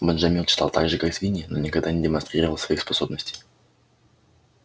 бенджамин читал так же как свиньи но никогда не демонстрировал своих способностей